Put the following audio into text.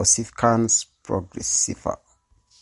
ossificans progressiva?